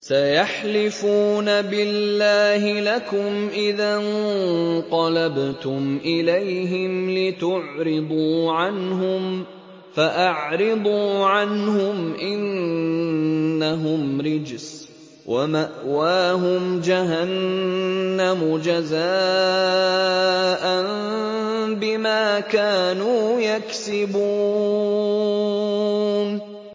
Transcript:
سَيَحْلِفُونَ بِاللَّهِ لَكُمْ إِذَا انقَلَبْتُمْ إِلَيْهِمْ لِتُعْرِضُوا عَنْهُمْ ۖ فَأَعْرِضُوا عَنْهُمْ ۖ إِنَّهُمْ رِجْسٌ ۖ وَمَأْوَاهُمْ جَهَنَّمُ جَزَاءً بِمَا كَانُوا يَكْسِبُونَ